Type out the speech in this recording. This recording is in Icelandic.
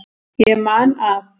Ég man að